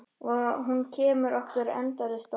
Og hún kemur okkur endalaust á óvart.